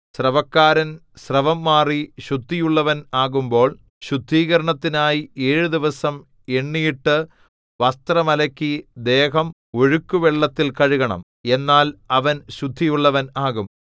സ്രവക്കാരൻ സ്രവം മാറി ശുദ്ധിയുള്ളവൻ ആകുമ്പോൾ ശുദ്ധീകരണത്തിനായി ഏഴു ദിവസം എണ്ണിയിട്ട് വസ്ത്രം അലക്കി ദേഹം ഒഴുക്കുവെള്ളത്തിൽ കഴുകണം എന്നാൽ അവൻ ശുദ്ധിയുള്ളവൻ ആകും